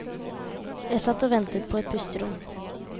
Jeg satt og ventet på et pusterom.